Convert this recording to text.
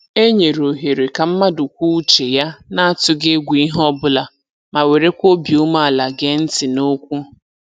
E nyere ohere ka mmadụ kwuo uche ya na-atụghị egwu ihe ọbụla ma werekwa obi ume ala gee ntị n'okwu